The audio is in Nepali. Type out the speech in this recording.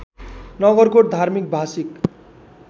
नगरकोट धार्मिक भाषिक